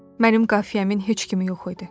Mənim qafiyəmin heç kimi yox idi.